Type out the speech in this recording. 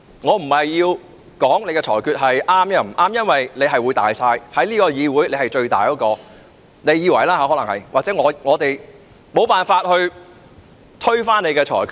我不是說你的裁決是錯或對，因為你在這個議會是至高無上的——你可能自以為如此——我們無法推翻你的裁決。